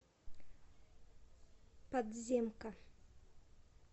подземка